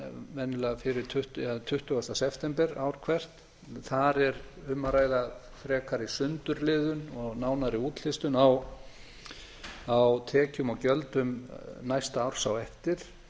venjulega um tuttugu september ár hvert þar er um að ræða frekari sundurliðun og nánari útlistun á tekjum og gjöldum næsta árs á eftir